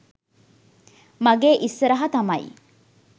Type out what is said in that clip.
මගේ ඉස්සරහා තමයි